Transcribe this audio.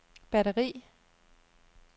batteri